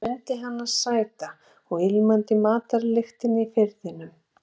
Ég mundi hana sæta og ilmandi í matarlyktinni í Firðinum.